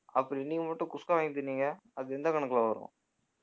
அப்ப நீங்க மட்டும் குஸ்கா வாங்கித் தின்னீங்க அது எந்த கணக்குல வரும்